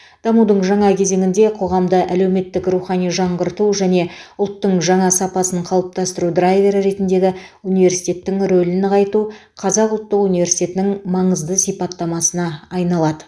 дамудың жаңа кезеңінде қоғамды әлеуметтік рухани жаңғырту және ұлттың жаңа сапасын қалыптастыру драйвері ретіндегі университеттің рөлін нығайту қазақ ұлттық университетінің маңызды сипаттамасына айналады